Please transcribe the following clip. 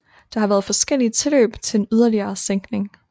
Der har været forskellige tilløb til en yderligere sænkning